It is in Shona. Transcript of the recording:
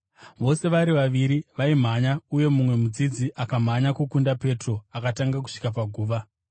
Vose vari vaviri vaimhanya, asi mumwe mudzidzi akamhanya kukunda Petro akatanga kusvika paguva.